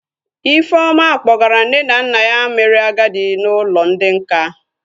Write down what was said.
Ifeoma kpọgara nne na nna ya mere agadi n'ụlọ ndị nká